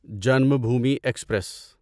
Janmabhoomi express